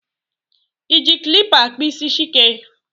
ị ji kilipa akpụ isi Chike?